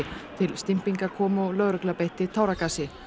til kom og lögregla beitti táragasi